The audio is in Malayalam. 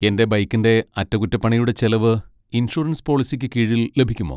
എന്റെ ബൈക്കിന്റെ അറ്റകുറ്റപ്പണിയുടെ ചെലവ് ഇൻഷുറൻസ് പോളിസിക്ക് കീഴിൽ ലഭിക്കുമോ?